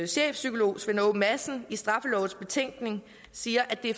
chefpsykolog svend aage madsen i straffelovens betænkning siger at det